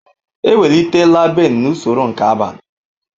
Ewelitela Ben n'usoro nke abalị.